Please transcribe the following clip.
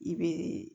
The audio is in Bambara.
I bɛ